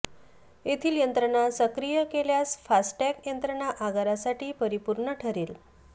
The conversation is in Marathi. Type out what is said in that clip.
येथील यंत्रणा सक्रिय केल्यास फास्टॅग यत्रंणा आगारासाठी परिपुर्ण ठेरेल